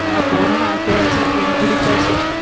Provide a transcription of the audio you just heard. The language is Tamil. ஆனா போனும்னு ஆசையா இருக்கு முடிச்சாச்சு